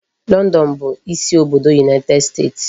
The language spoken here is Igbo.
London bụ isi obodo United Kingdom.